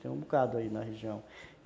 Tem um bocado aí na região.